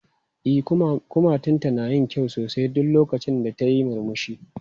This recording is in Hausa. E, kumatunta na yin kyau sosai duk lokacin da tayi murmushi.